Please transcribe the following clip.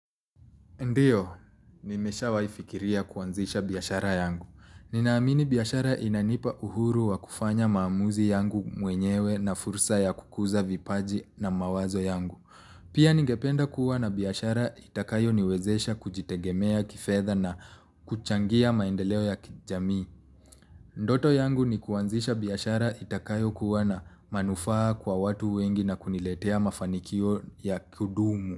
Ndiyo, nimeshawai fikiria kuanzisha biashara yangu. Ninaamini biashara inanipa uhuru wa kufanya maamuzi yangu mwenyewe na fursa ya kukuza vipaji na mawazo yangu. Pia ningependa kuwana biashara itakayo niwezesha kujitegemea kifedha na kuchangia maendeleo ya kijamii. Ndoto yangu ni kuanzisha biashara itakayo kuwa na manufaa kwa watu wengi na kuniletea mafanikio ya kudumu.